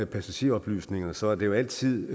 passageroplysninger så er det jo altid